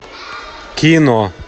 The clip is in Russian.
кино